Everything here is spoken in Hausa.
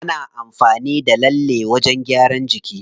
Ana amfani da lallen wajen gyaran jiki.